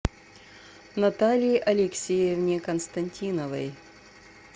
наталье алексеевне константиновой